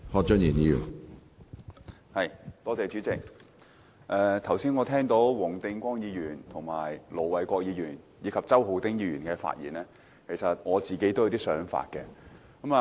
主席，聽畢黃定光議員、盧偉國議員和周浩鼎議員剛才的發言，我自己也有些想法。